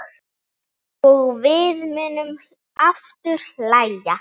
Og við munum aftur hlæja.